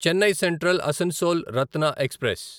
Chennai Central Asansol Ratna express